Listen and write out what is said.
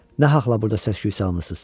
Nahaqla burda səs-küy salmısınız.